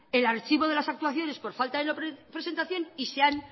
el archivo de las actuaciones por falta de presentación y se han